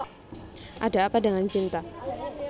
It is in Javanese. Ada Apa Dengan Cinta